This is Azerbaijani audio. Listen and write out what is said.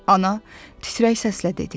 Ana, titrək səslə dedi.